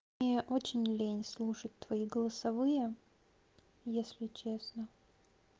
мне очень лень слушать твои голосовые если честно